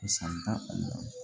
San tan kɔnɔ